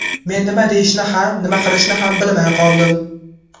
Men nima deyishni ham, nima qilishni ham bilmay qoldim.